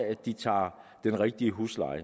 at de tager den rigtige husleje